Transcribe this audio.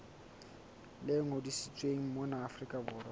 le ngodisitsweng mona afrika borwa